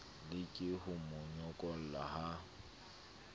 leke ho mo nyokola ha